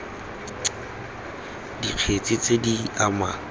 c dikgetse tse di amang